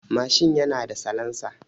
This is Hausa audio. Mashin yana da salansa.